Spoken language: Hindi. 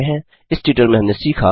इस ट्यूटोरियल में हमने सीखा 1